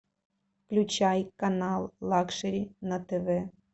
включай канал лакшери на тв